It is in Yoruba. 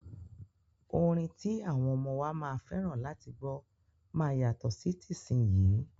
Orin ti àwọn ọmọ wa máa fẹ́ràn láti gbọ́ máa yàtọ̀ sí tìsínyii.